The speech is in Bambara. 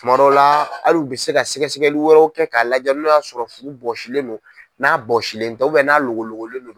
Kuma dɔ la hali u bɛ se ka sɛgɛsɛgɛli wɛrɛw kɛ k'a lajɛ n'a y'a sɔrɔ furu bɔsilen do n'a bɔsilen tɛ n'a logologolen do.